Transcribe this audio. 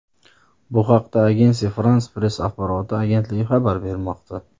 Bu haqda Agence France-Presse axborot agentligi xabar bermoqda .